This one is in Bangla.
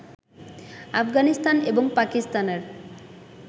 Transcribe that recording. আফগানিস্তান এবং পাকিস্তানের